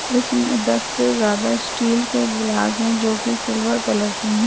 इसमें दस से ज्यादा स्टिल के गिलास है। जो की सिल्वर कलर के है।